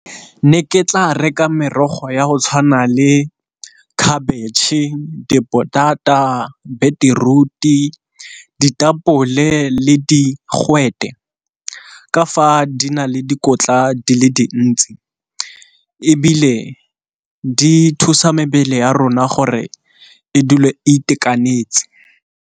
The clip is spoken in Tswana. Ne ke tla reka merogo ya go tshwana le khabitšhe, dipotata, beteruti, ditapole, le digwete ka fa di na le dikotla di le dintsi ebile di thusa mebele ya rona gore e dule a itekanetse.